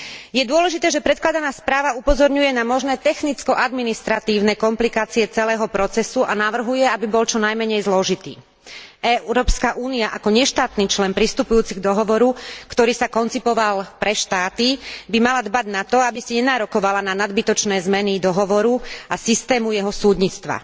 Je dôležité, že predkladaná správa upozorňuje na možné technicko administratívne komplikácie celého procesu a navrhuje, aby bol čo najmenej zložitý. Európska únia ako neštátny člen pristupujúci k dohovoru, ktorý sa koncipoval pre štáty, by mala dbať na to, aby si nenárokovala na nadbytočné zmeny dohovoru a systému jeho súdnictva.